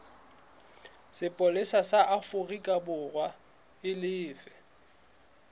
sepolesa sa aforikaborwa e lefe